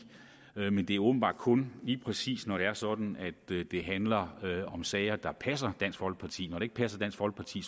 men det er åbenbart kun lige præcis når det er sådan at det handler om sager der passer dansk folkeparti når det ikke passer dansk folkeparti